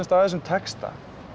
af þessum texta